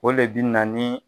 O le bi na ni